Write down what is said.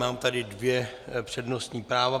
Mám tady dvě přednostní práva.